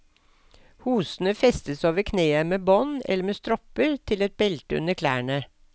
Hosene festes over kneet med bånd eller med stropper til et belte under klærne.